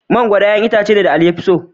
Mangwaro ne 'ƴa'ƴan itacen da Ali ya fi so.